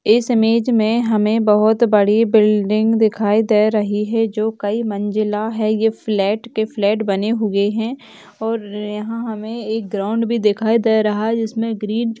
इस ईमेज में हमें बहोत बड़ी बिल्डिंग दिखाई दे रही हैं जो कई मंजिला हैं ये फ्लेट ते फ्लेट बने हुए है और यहाँ हमें एक ग्राउंड भी दिखाई दे रहा हैं जिसमे ग्रीन --